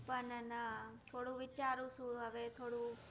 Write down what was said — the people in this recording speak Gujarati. પણ ના થોડું વિચારું છું હવે થોડું